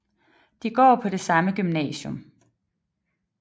De går på det samme gymnasium